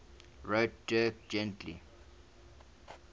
wrote dirk gently's